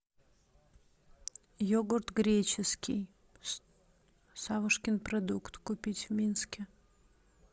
йогурт греческий савушкин продукт купить в минске